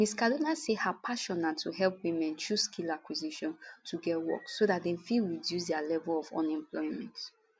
miss kaduna say her passion na to help women through skill acquisition to get work so dem fit reduce di level of unemployment